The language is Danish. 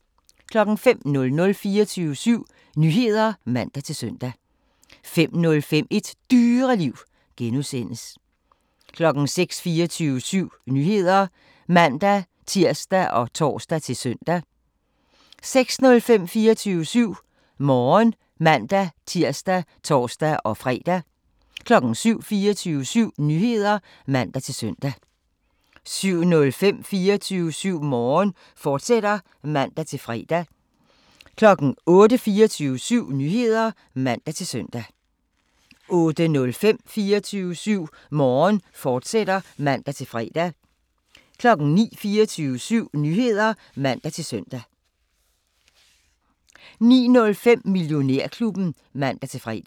05:00: 24syv Nyheder (man-søn) 05:05: Et Dyreliv (G) 06:00: 24syv Nyheder (man-tir og tor-søn) 06:05: 24syv Morgen (man-tir og tor-fre) 07:00: 24syv Nyheder (man-søn) 07:05: 24syv Morgen, fortsat (man-fre) 08:00: 24syv Nyheder (man-søn) 08:05: 24syv Morgen, fortsat (man-fre) 09:00: 24syv Nyheder (man-søn) 09:05: Millionærklubben (man-fre)